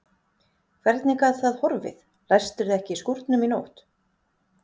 Hvernig gat það horfið, læstirðu ekki skúrnum í nótt?